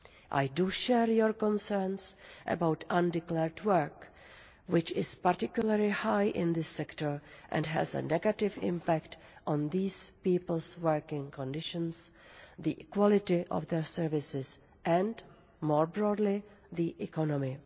I share the concerns about undeclared work, which is particularly high in this sector and has a negative impact on these people's working conditions, the quality of their services and, more broadly, the economy.